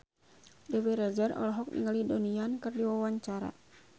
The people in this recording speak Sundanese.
Dewi Rezer olohok ningali Donnie Yan keur diwawancara